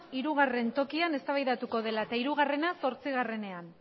hirugarren tokian eztabaidatu dela eta hirugarrena zortzigarrenean